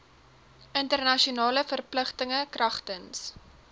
internasionale verpligtinge kragtens